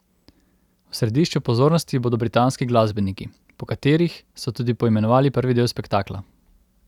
V središču pozornosti bodo britanski glasbeniki, po katerih so tudi poimenovali prvi del spektakla.